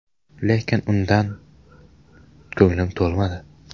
Lekin undan ko‘nglim to‘lmadi.